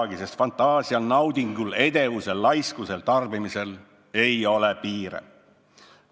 Sest fantaasial ei ole ju piire, naudingul ei ole ju piire, edevusel ei ole piire, laiskusel ei ole piire, tarbimisel ei ole piire.